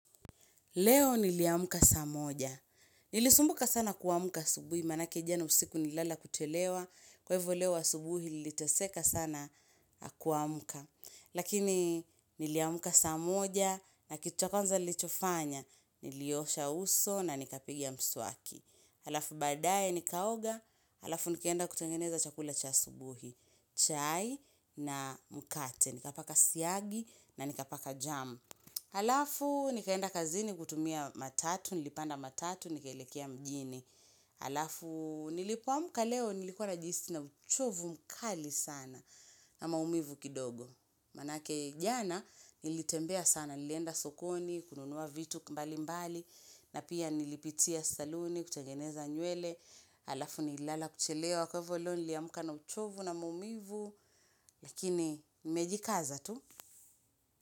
Leo niliamuka saa moja. Nilisumbuka sana kuamka asubuhi, manake jane usiku nilala kuchelewa. Kwa ivyo leo asubuhi niliteseka sana kuamka. Lakini niliamuka saa moja na kitu ykonza nlichofanya, nilioosha uso na nikapiga mswaki. Halafu badaye nikaoga, halafu nikeenda kutengeneza chakula cha asubuhi. Chai na mkate, nikapaka syagi na nikapaka jam. Alafu, nikaenda kazini kutumia matatu, nilipanda matatu, nikelekea mjini. Alafu, nilipoamka leo, nilikuwa najihisi i na uchovu mkali sana na maumivu kidogo. Manake jana, nilitembea sana, nilienda sokoni, kununua vitu mbali mbali, na pia nilipitia saluni, kuchegeneza nywele. Alafu, nilala kuchelewa, kwa hivyo leo, niliamuka na uchovu na maumivu. Lakini, nimejikaza tu.